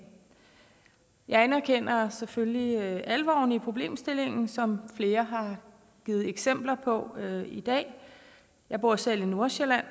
jeg anerkender selvfølgelig alvoren i problemstillingen som flere har givet eksempler på i dag jeg bor selv i nordsjælland